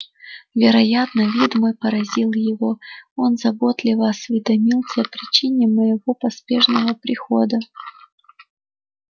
вероятно вид мой поразил его он заботливо осведомился о причине моего поспешного прихода